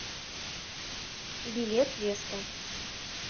билет веста